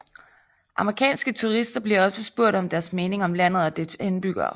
Amerikanske turister bliver også spurgt om deres mening om landet og dets indbyggere